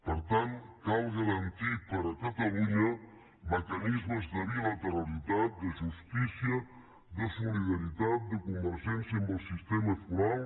per tant cal garantir per a catalunya mecanismes de bilateralitat de justícia de solidaritat de convergència amb el sistema foral